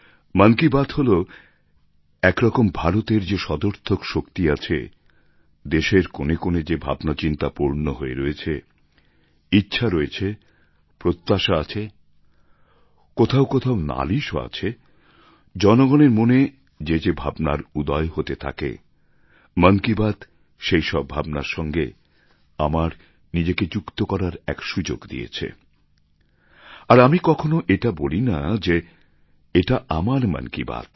মন কি বাত হল একরকম ভারতের যে সদর্থক শক্তি আছে দেশের কোণে কোণে যে ভাবনাচিন্তা পূর্ণ হয়ে রয়েছে ইচ্ছা রয়েছে প্রত্যাশা আছে কোথাও কোথাও নালিশও আছে জনগণের মনে যে যে ভাবনার উদয় হতে থাকে মন কি বাত সেই সব ভাবনার সঙ্গে আমার নিজেকে যুক্ত করার এক সুযোগ দিয়েছে আর আমি কখনও এটা বলি না যে এটা আমার মন কি বাত